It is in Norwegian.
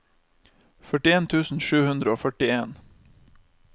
førtien tusen sju hundre og førtien